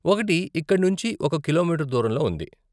ఒకటి ఇక్కడ నుంచి ఒక కిలోమీటరు దూరంలో ఉంది.